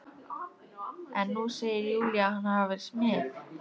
En nú segir Júlía hann hafa verið smið.